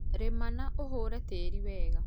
rĩma na ũhũre tĩĩrĩ wega